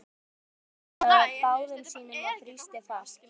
Jóra tók um þær með báðum sínum og þrýsti fast.